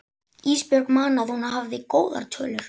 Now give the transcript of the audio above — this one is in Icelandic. Ísbjörg man að hún hafði góðar tölur.